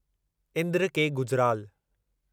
Indra K Gujral